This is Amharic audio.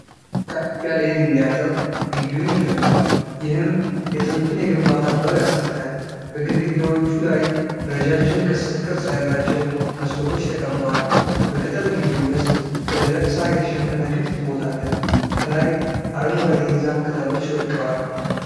ከፍ ያለ የድንጋይ አጥር ግቢውን ይከባል፣ ይህም የጥንቱን የግንባታ ጥበብ ያስረዳል። በግድግዳዎቹ ላይ ረዣዥም ቅስት ቅርጽ ያላቸው መስኮቶች ተቀምጠዋል። በቅጥር ግቢው ውስጥ በደረቅ ሳር የተሸፈነ ክፍት ቦታ አለ። ከላይ አረንጓዴ የዛፍ ቅጠሎች ወድቀዋል።